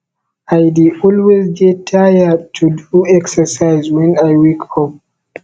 i dey always dey tired to do exercise wen i wake up